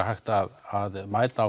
hægt að mæta